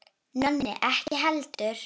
Nonni ekki heldur.